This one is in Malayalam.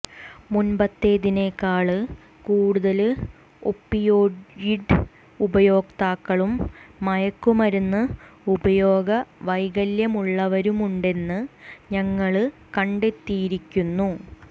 മുന്പത്തേതിനേക്കാള് കൂടുതല് ഒപിയോയിഡ് ഉപയോക്താക്കളും മയക്കുമരുന്ന് ഉപയോഗ വൈകല്യമുള്ളവരുമുണ്ടെന്ന് ഞങ്ങള് കണ്ടെത്തിയിരിക്കുന്നു